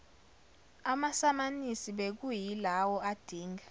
amasamanisi bekuyilawo adinga